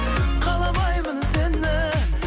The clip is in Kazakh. каламаймын сені